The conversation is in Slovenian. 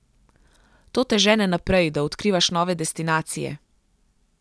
To te žene naprej, da odkrivaš nove destinacije.